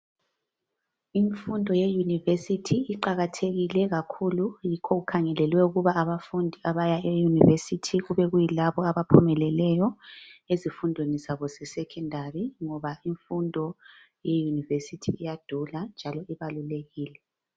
Imfundo yeyunivesithi iqakathekile kakhulu yikho okukhangelelwe ukuba abafundi abaya eyunivesithi kube kuyilabo abaphumeleleyo ezifundweni zabo ze Secondary ngoba imfundo yeyunivesithi iyadula njalo ibalulekile.